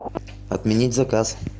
отменить заказ